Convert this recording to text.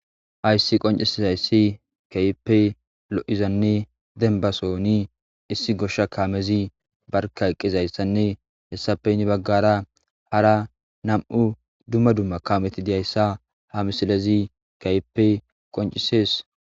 Hayssi qoncisezayssi kaype lo'izanne dembasoni issi goshsha kaamezi barka qizayssanne hessapeynni baggara hara nam'u dumma dumma kameti diyayssa ha misilezi kaype qoncisees